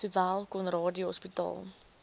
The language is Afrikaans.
sowel conradie hospitaal